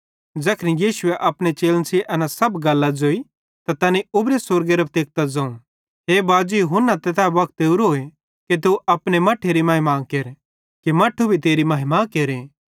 ज़ैखन यीशुए अपने चेलन सेइं एना सब गल्लां ज़ोई त तैनी उबरू स्वर्गेरां तेकतां ज़ोवं हे बाजी हुन्ना तै वक्त ओरोए कि तू अपने मट्ठेरी महिमा केर कि मट्ठू भी तेरी महिमा केरे